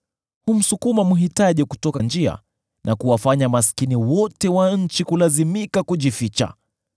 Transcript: Humsukuma mhitaji kutoka njia, na kuwafanya maskini wote wa nchi kulazimika kujificha.